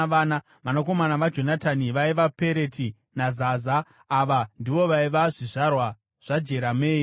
Vanakomana vaJonatani vaiva: Pereti naZaza. Ava ndivo vaiva zvizvarwa zvaJerameeri.